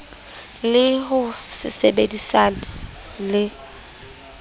le ho se sebedisane le